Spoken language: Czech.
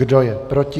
Kdo je proti?